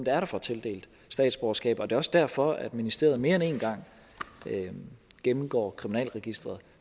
er der får tildelt statsborgerskab det er også derfor at ministeriet mere end en gang gennemgår kriminalregisteret